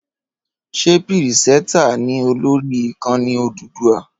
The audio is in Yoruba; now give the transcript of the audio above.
Ṣé pírìsẹtà ni ó lórí Ìkànnì Odùduwà?